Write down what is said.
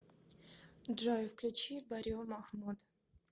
джой включи баррио махмуд